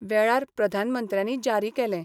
वेळार प्रधानमंत्र्यानी जारी केलें.